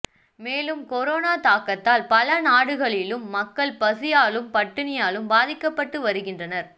மேலும் கொரோனா தாக்கத்தால் பல நாடுகளிலும் மக்கள் பசியாலும் பட்டினியாலும் பாதிக்கப்பட்டு வருகின்றனர்